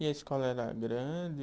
E a escola era grande?